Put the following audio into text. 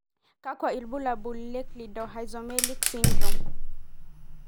kakwa ibulaul at Cleidorhizomelic syndrome.